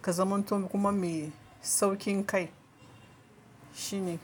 ka zamanto kuma mai sauƙin kai shine.